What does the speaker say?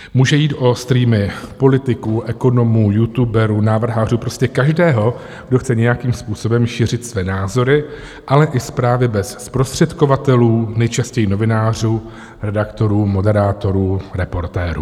Může jít o streamy politiků, ekonomů, youtuberů, návrhářů, prostě každého, kdo chce nějakým způsobem šířit své názory, ale i zprávy bez zprostředkovatelů, nejčastěji novinářů, redaktorů, moderátorů, reportérů.